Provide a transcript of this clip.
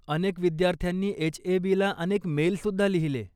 अनेक विद्यार्थ्यांनी एच.ए.बी.ला अनेक मेलसुद्धा लिहिले.